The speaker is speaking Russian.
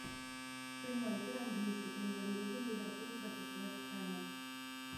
прямой эфир английской премьер лиги ливерпуль против вест хэма